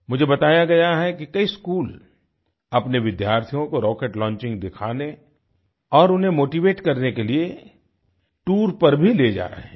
मुझे बताया गया है कि कई स्कूल अपने विद्यार्थियों को रॉकेट लॉन्चिंग दिखाने और उन्हें मोटीवेट करने के लिए टूर पर भी ले जा रहे हैं